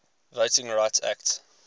voting rights act